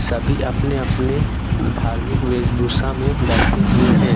सभी अपने अपने धार्मिक वेशभूषा में बैठे हुए हैं।